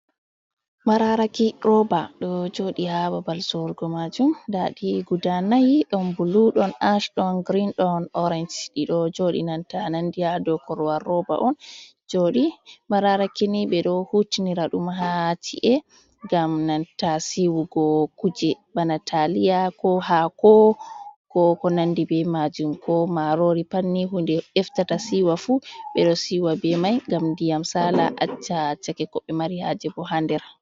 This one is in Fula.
Mararaki roba do jodi ha babal sorugo majum. Ndaɗi guda nayi, ɗon bulu, ɗon ash, ɗon girin ɗon orange. Ɗido jodi nanta nandi ha do korwar roba on joɗi. Mararakini be do hutinira dum ha ci’e gam nanta siwugo kuje bana taliya, ko haako, ko ko nandi be majum, ko marori. Patni hunde eftata siwa fu be do siwa be mai, ngam diyam sala accha chake kobe mari haje bo hander.